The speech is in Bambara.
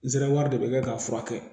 Nsɛrɛ wari de bɛ kɛ k'a furakɛ